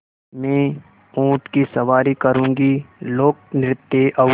मैं ऊँट की सवारी करूँगी लोकनृत्य और